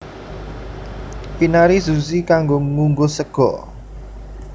Inarizushi kanggo ngunggus sega